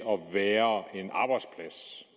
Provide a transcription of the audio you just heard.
at være